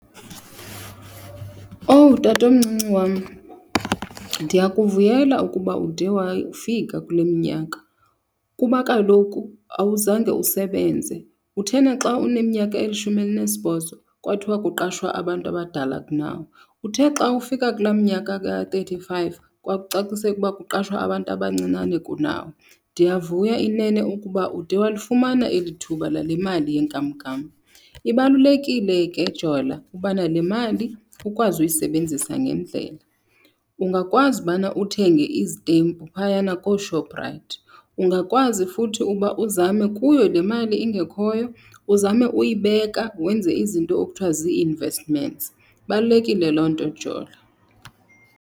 Owu, tatomncinci wam, ndiyakuvuyela ukuba ude wafika kule minyaka kuba kaloku awuzange usebenze. Kuthena xa uneminyaka elishumi elinesibhozo kwathiwa kuqashwa abantu abadala kunawe. Uthe xa ufika kulaa minyaka ka-thirty five kwakucacisela uba kuqashwa abantu abancinane kunawe. Ndiyavuya inene ukuba ude walifumana eli thuba lale mali yenkamnkam. Ibalulekile ke, Jola, ubana le mali ukwazi uyisebenzisa ngendlela. Ungakwazi ubana uthenge izitempu phayana kooShoprite. Ungakwazi futhi uba uzame kuyo le mali ingekhoyo, uzame uyibeka, wenze izinto ekuthiwa zii-investments. Ibalulekile loo nto, Jola.